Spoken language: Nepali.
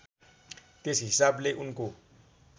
त्यस हिसाबले उनको